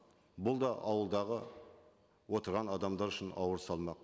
бұл да ауылдағы отырған адамдар үшін ауыр салмақ